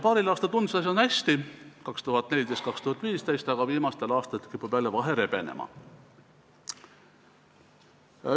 Paaril aastal, 2014 ja 2015, tundus, et asi on hästi, aga viimastel aastatel kipub vahe jälle rebenema.